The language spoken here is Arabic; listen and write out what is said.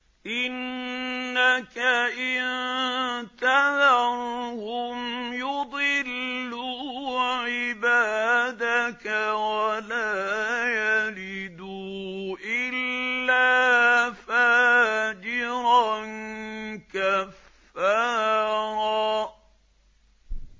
إِنَّكَ إِن تَذَرْهُمْ يُضِلُّوا عِبَادَكَ وَلَا يَلِدُوا إِلَّا فَاجِرًا كَفَّارًا